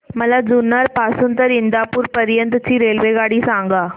मला जुन्नर पासून तर इंदापूर पर्यंत ची रेल्वेगाडी सांगा